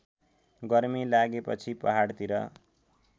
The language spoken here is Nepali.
गर्मी लागेपछि पहाडतिर